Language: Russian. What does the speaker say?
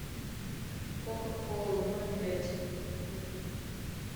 кока кола ноль пять бутылку